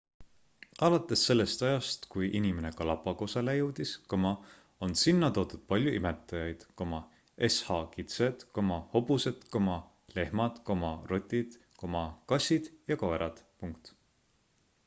alates sellest ajast kui inimene galapagosele jõudis on sinna toodud palju imetajaid sh kitsed hobused lehmad rotid kassid ja koerad